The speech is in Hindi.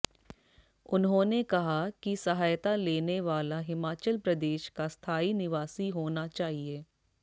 उन्होंने कहा कि सहायता लेने वाला हिमाचल प्रदेश का स्थायी निवासी होना चाहिए